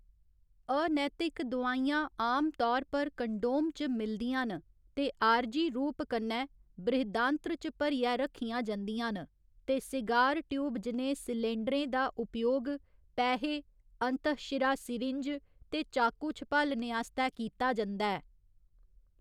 अनैतिक दोआईयां आमतौर पर कंडोम च मिलदियां न ते आरजी रूप कन्नै बृहदान्त्र च भरियै रक्खियां जंदियां न, ते सिगार ट्यूब जनेह् सिलेंडरें दा उपयोग पैहे, अंतःशिरा सीरिंज ते चाकू छपालने आस्तै कीता जंदा ऐ।